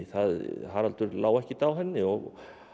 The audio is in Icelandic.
Haraldur lá ekkert á henni og